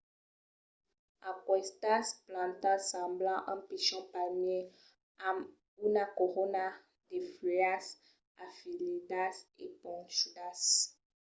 aquestas plantas semblan un pichon palmièr amb una corona de fuèlhas afiladas e ponchudas